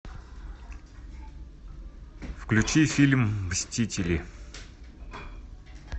включи фильм мстители